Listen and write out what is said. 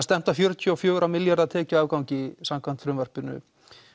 stefnt að fjörutíu og fjóra milljarða tekjuafgangi samkvæmt frumvarpinu